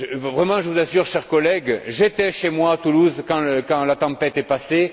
Vraiment, je vous assure, chers collègues, j'étais chez moi à Toulouse quand la tempête est passée.